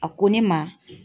A ko ne ma.